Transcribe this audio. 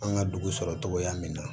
An ka dugu sɔrɔ cogoya min na